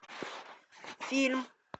фильм